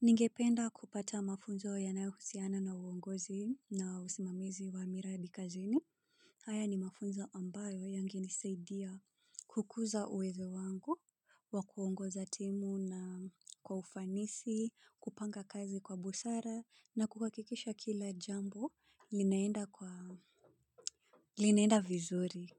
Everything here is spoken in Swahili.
Ningependa kupata mafunzo yanayo husiana na uongozi na usimamizi wa miradi kazini. Haya ni mafunzo ambayo yangenisaidia kukuza uwezo wangu wa kuongoza timu na kwa ufanisi, kupanga kazi kwa busara na kukakikisha kila jambo linaenda vizuri